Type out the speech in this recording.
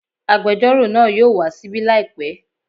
Agbẹjọ́rò náà yóò wá ṣíbí làìpẹ́